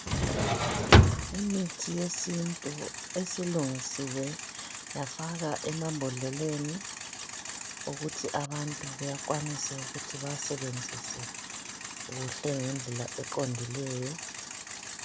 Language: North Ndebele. Imithi yesintu esilungisiwe yafakwa emambodleleni ukuthi abantu bekwanise ukuthi bawasebenzise kuhle ngendlela eqondileyo